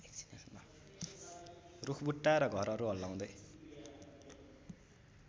रूखबुट्टा र घरहरू हल्लाउँदै